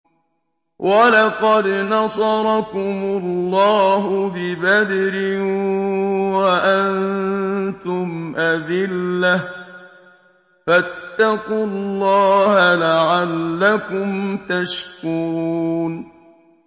وَلَقَدْ نَصَرَكُمُ اللَّهُ بِبَدْرٍ وَأَنتُمْ أَذِلَّةٌ ۖ فَاتَّقُوا اللَّهَ لَعَلَّكُمْ تَشْكُرُونَ